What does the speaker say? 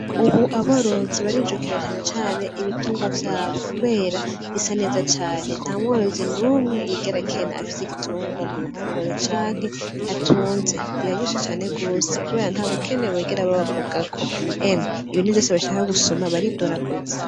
Ubu aborozi barijukera canecane ibitungwa vyabo, kubera bisaneza cane nta mworozi n'umwe yigera kena afise igitungwa mu ruhongore canke atunze biraryoshe cane gose, kubera nta bukene bigera babavugako emwe ibintu vyose bashaka gusuma baridoraguze.